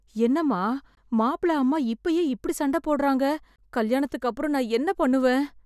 என்னம்மா மாப்பிள அம்மா இப்பயே இப்படி சண்டை போடறாங்க, கல்யாணத்துக்கு அப்புறம் நான் என்ன பண்ணுவேன்?